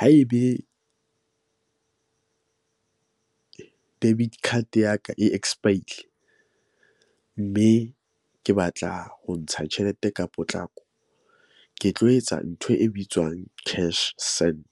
Haebe debit card ya ka e expire-ile mme ke batla ho ntsha tjhelete ka potlako ke tlo etsa ntho e bitswang cash send .